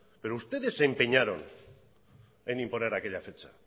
pero ustedes se empeñaron en imponer aquella fecha